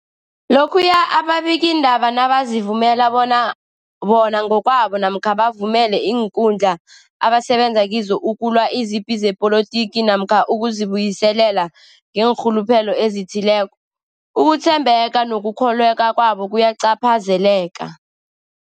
Lokhuya ababikiindaba nabazivumela bona bona ngokwabo namkha bavumele iinkundla abasebenza kizo ukulwa izipi zepolitiki namkha ukuzi buyiselela ngeenrhuluphelo ezithileko, ukuthembeka nokukholweka kwabo kuyacaphazeleka.